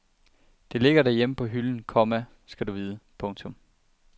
Det ligger derhjemme på hylden, komma skal du vide. punktum